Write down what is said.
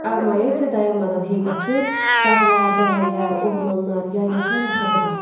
Ağ maya isə dayanmadan hey qaçır, dağlar, dərələr, ormanlar, yaylaqlar arxada qaldı.